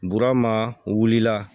Burama wulila